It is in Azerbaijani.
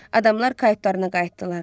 Adamlar kayıqlarına qayıtdılar.